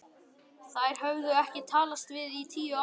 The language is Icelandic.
Þær höfðu ekki talast við í tíu ár.